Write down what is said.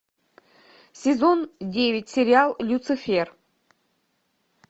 сезон девять сериал люцифер